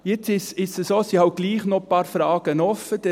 Es ist so, dass doch noch ein paar Fragen offen sind.